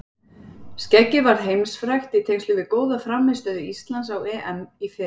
Skeggið varð heimsfrægt í tengslum við góða frammistöðu Íslands á EM í fyrra.